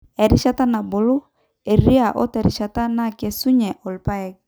erishata nabulu eriaa oterishata nakesunye irr`paek